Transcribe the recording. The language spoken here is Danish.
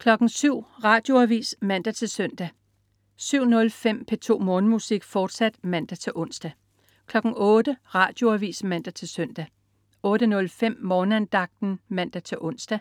07.00 Radioavis (man-søn) 07.05 P2 Morgenmusik, fortsat (man-ons) 08.00 Radioavis (man-søn) 08.05 Morgenandagten (man-ons) 08.23